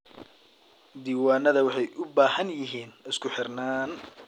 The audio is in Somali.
Diiwaanada waxay u baahan yihiin isku-xirnaan.